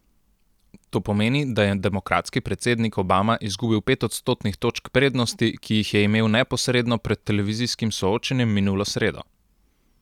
To pomeni, da je demokratski predsednik Obama izgubil pet odstotnih točk prednosti, ki jih je imel neposredno pred televizijskim soočenjem minulo sredo.